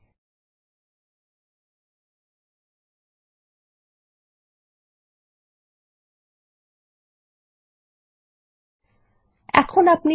এখন এই টেবিলে একটি নতুন ক্ষেত্র মিডিয়াটাইপ যোগ করুন যাতে মিডিয়াটি অডিও না ভিডিও সেই সংক্রান্ত তথ্য থাকবে